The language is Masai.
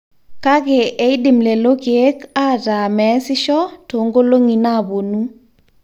kake eidim lelo keek aataa meesisho toonkolong'i naaponu